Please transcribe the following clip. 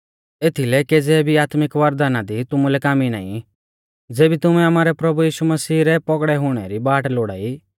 एथीलै केज़ै भी आत्मिक वरदाना दी तुमुलै कामी नाईं ज़ेबी तुमैं आमारै प्रभु यीशु मसीह रै पौगड़ौ हुणै री बाट लोड़ाई